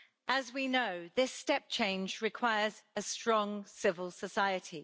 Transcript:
As we know, this step change requires a strong civil society.